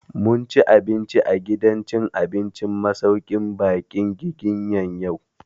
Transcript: Mun ci abinci a gidan cin abincin masauƙin baƙin Giginya yau